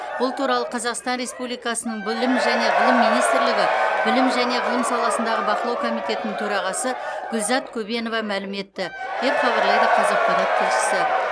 бұл туралы қазақстан республикасының білім және ғылым министрлігі білім және ғылым саласындағы бақылау комитетінің төрағасы гүлзат көбенова мәлім етті деп хабарлайды қазақпарат тілшісі